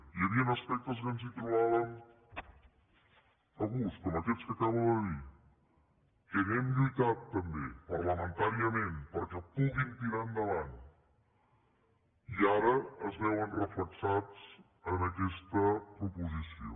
hi havien aspectes que ens hi trobàvem a gust com aquests que acabo de dir que hi hem lluitat també parlamentàriament perquè puguin tirar enda·vant i ara es veuen reflectits en aquesta proposició